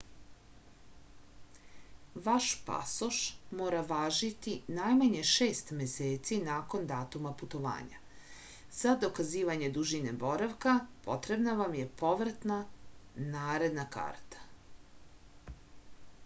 ваш пасош мора важити најмање 6 месеци након датума путовања. за доказивање дужине боравка потребна вам је повратна/наредна карта